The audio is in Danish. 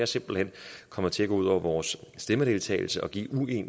simpelt hen kommer til at gå ud over vores stemmedeltagelse og give ulige